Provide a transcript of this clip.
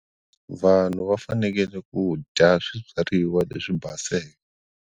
Vanhu va fanekele ku dya swibyariwa leswi baseke.